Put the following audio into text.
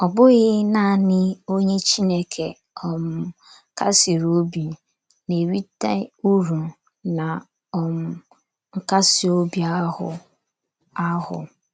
Ọ bụghị naanị onye Chineke um kasiri obi na - erite uru ná um nkasi obi ahụ ahụ.